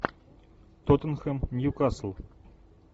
тоттенхэм нью касл